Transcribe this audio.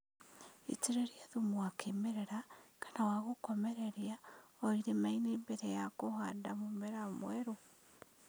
Itĩrĩria thumu wa kĩmerera kana wa gũkomereria o irimainĩ mbere ya kũhanda mũmera werũ